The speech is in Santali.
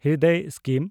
ᱦᱨᱤᱫᱚᱭ ᱥᱠᱤᱢ